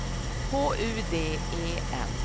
H U D E N